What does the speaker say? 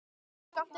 Hræddur við okkur?